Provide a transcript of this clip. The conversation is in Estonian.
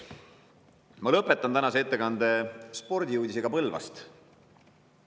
Ma lõpetan tänase ettekande spordiuudisega Põlvast.